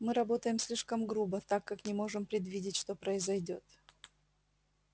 мы работаем слишком грубо так как не можем предвидеть что произойдёт